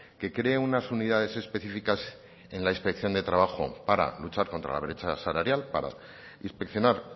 que cree unas unidades específicas en la inspección de trabajo para luchar contra la brecha salarial para inspeccionar